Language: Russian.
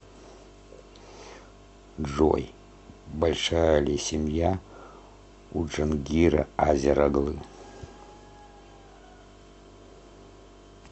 джой большая ли семья у джангира азер оглы